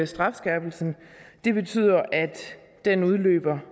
strafskærpelsen det betyder at den udløber